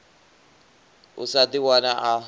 a sa ḓi wane a